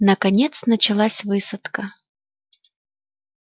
наконец началась высадка